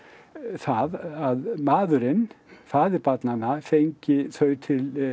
það að maðurinn faðir barnanna fengi þau til